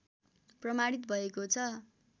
प्रमाणित भएकॊ छ